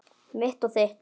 Mitt og þitt.